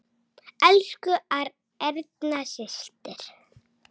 Elsku Erna systir.